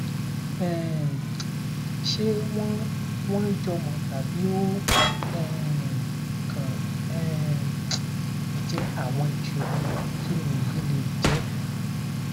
um ṣé wọn wọn jọmọ tàbí ó um kàn um jẹ àwọn ìṣòro kini eyi le je